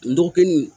N dɔgɔkin